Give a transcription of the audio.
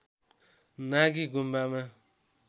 नागी गुम्बामा